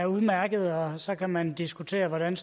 udmærkede så kan man diskutere hvordan